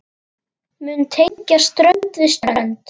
mun tengja strönd við strönd.